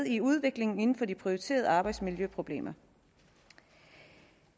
i udviklingen inden for de prioriterede arbejdsmiljøproblemer